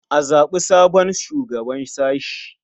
A zaɓi sabon shugaban sashe.